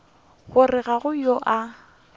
gore ga go yo a